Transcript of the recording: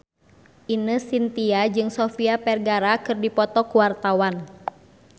Ine Shintya jeung Sofia Vergara keur dipoto ku wartawan